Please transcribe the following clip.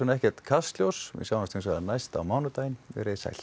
ekkert Kastljós við sjáumst næst á mánudaginn veriði sæl